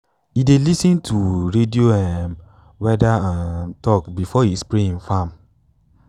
e dey lis ten to radio um weather um talk before e spray im farm.